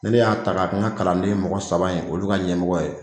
Ni ne y'a ta ka kɛ n ka kalanden mɔgɔ saba in olu ka ɲɛmɔgɔ ye